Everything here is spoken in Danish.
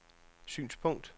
synspunkt